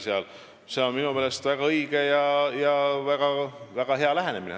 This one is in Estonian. See on minu meelest väga õige ja väga hea lähenemine.